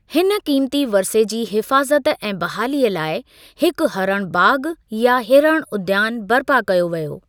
हिन क़ीमती वरिसे जी हिफ़ाज़त ऐं बहालीअ लाइ हिकु हरणु बाग़ या हिरण उद्यान बर्पा कयो वियो|